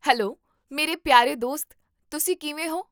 Hello ਮੇਰੇ ਪਿਆਰੇ ਦੋਸਤ, ਤੁਸੀਂ ਕਿਵੇਂ ਹੋ?